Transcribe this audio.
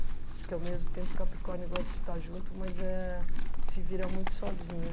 Porque, ao mesmo tempo, Capricórnio gosta de estar junto, mas eh se vira muito sozinha.